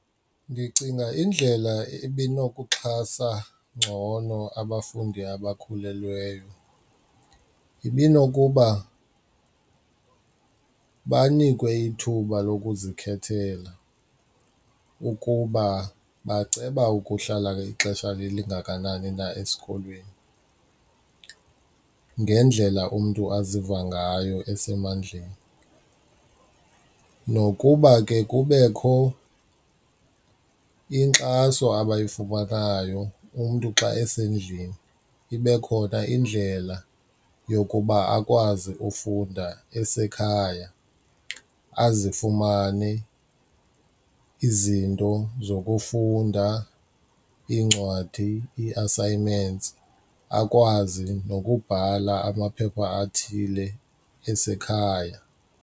Ndicinga indlela ebinokuxhasa ngcono abafundi abakhulelweyo ibinokuba banikwe ithuba lokuzikhethela ukuba baceba ukuhlala ixesha elingakanani na esikolweni ngendlela umntu aziva ngayo esemandleni nokuba ke kubekho inkxaso abayifumanayo, umntu xa esendlini ibe khona indlela yokuba akwazi ufunda esekhaya azifumane izinto zokufunda, iincwadi ii-assignments akwazi nokubhala amaphepha athile asekhaya.